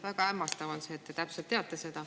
Väga hämmastav on see, et te seda täpselt teate.